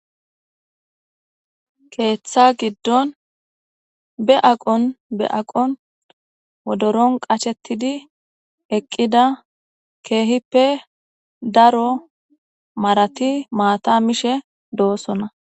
Keeththa giddon be aqqon be aqqon wodoron qashetidi eqqida keehippe daro marati maata mishe doosona.